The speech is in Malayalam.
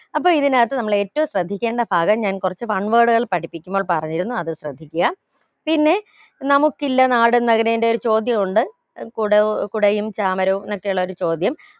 അപ്പോ ഇതിനകത്ത് നമ്മൾ ഏറ്റവും ശ്രദ്ധിക്കേണ്ട ഭാഗം ഞാൻ കുറച്ച് one word കൾ പഠിപ്പിക്കുമെന്ന് പറഞ്ഞിരുന്നു അത് ശ്രദ്ധിക്കുക പിന്നെ നമുക്കില്ല നാട് നക്കിടെന്റേം ഒരു ചോദ്യം ഉണ്ട് അത് കുട ഏർ കുടയും ചാമരവും എന്നൊക്കെ ഉള്ള ഒരു ചോദ്യം